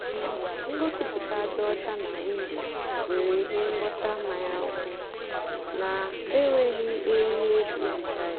um ngosipụta dị ọcha nà windo nwérè íhè ngwọta mmanya ọkụ nà-ènwéghị eriri èjí hicha ya.